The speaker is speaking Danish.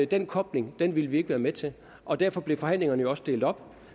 den kobling ville vi ikke være med til og derfor blev forhandlingerne jo også delt op